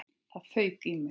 Það fauk í mig.